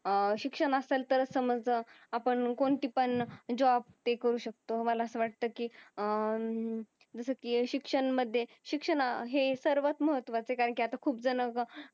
अह शिक्षण असेल तरच आपण कोणती पण जॉब टिकवू शकतो मला अस वाटत की अह जस की शिक्षणमध्ये शिक्षण हे सर्वात महत्वाच आहे कारण की आता खूप जण